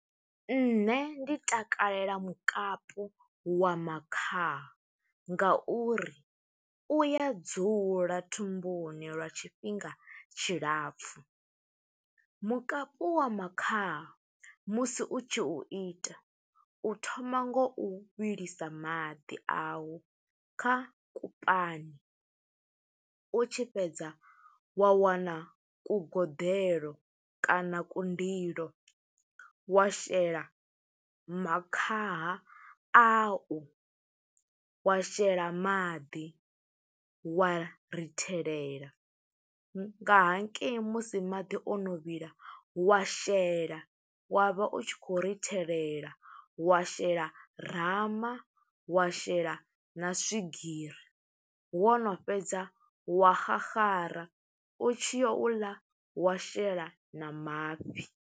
Nṋe ndi takalela mukapu wa makhaha nga uri u ya dzula thumbuni lwa tshifhinga tshilapfu, mukapu wa makhaha musi u tshi u ita, u thoma ngo u vhilisa maḓi awu kha kupani. U tshi fhedza wa wana kugoḓelo kana kundilo, wa shela makhaha ayo, wa shela maḓi, wa rithelela nga hangei musi maḓi ono vhila, wa shela wa vha u tshi khou rithelela, wa shela rama, wa shela na swigiri. Wo no fhedza wa xaxara, u tshi yo u ḽa, wa shela na mafhi.